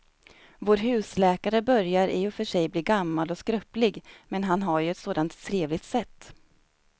Vår husläkare börjar i och för sig bli gammal och skröplig, men han har ju ett sådant trevligt sätt!